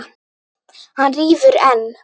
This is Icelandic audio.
Hann rífur enn.